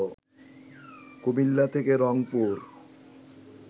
কুমিল্লা থেকে রংপুর